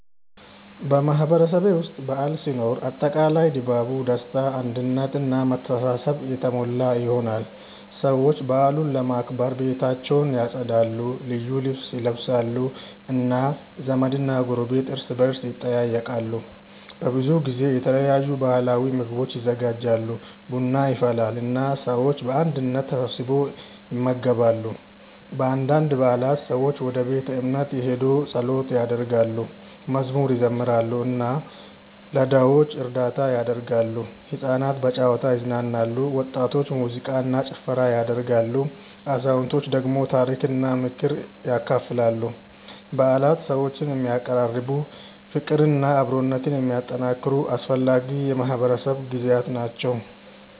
በማህበረሰቤ ውስጥ በዓል ሲኖር አጠቃላይ ድባቡ ደስታ አንድነት እና መተሳሰብ የተሞላ ይሆናል። ሰዎች በዓሉን ለማክበር ቤታቸውን ያጸዳሉ፣ ልዩ ልብስ ይለብሳሉ እና ዘመድና ጎረቤት እርስ በርስ ይጠያየቃሉ። በብዙ ጊዜ የተለያዩ ባህላዊ ምግቦች ይዘጋጃሉ፣ ቡና ይፈላል እና ሰዎች በአንድነት ተሰብስበው ይመገባሉ። በአንዳንድ በዓላት ሰዎች ወደ ቤተ እምነት ሄደው ጸሎት ያደርጋሉ፣ መዝሙር ይዘምራሉ እና ለድሆች እርዳታ ያደርጋሉ። ሕፃናት በጨዋታ ይዝናናሉ፣ ወጣቶች ሙዚቃ እና ጭፈራ ያደርጋሉ፣ አዛውንቶች ደግሞ ታሪክና ምክር ያካፍላሉ። በዓላት ሰዎችን የሚያቀራርቡ፣ ፍቅርና አብሮነትን የሚያጠናክሩ አስፈላጊ የማህበረሰብ ጊዜያት ናቸው።